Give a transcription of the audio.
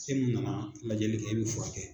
E mun nana lajɛli kɛ e bɛ furakɛ.